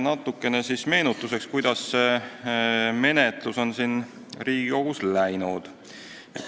Natukene siis meenutuseks, kuidas see menetlus on Riigikogus läinud.